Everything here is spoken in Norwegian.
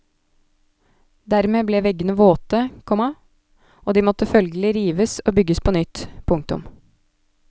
Dermed ble veggene våte, komma og de måtte følgelig rives og bygges på nytt. punktum